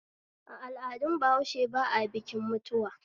A al'adun bahaushe ba a bikin mutuwa